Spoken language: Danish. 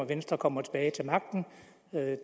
om venstre kommer tilbage til magten